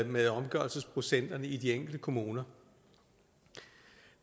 med omgørelsesprocenterne i de enkelte kommuner